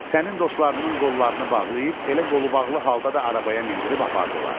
Sənin dostlarının qollarını bağlayıb elə qolubağlı halda da arabaya mindirib apardılar.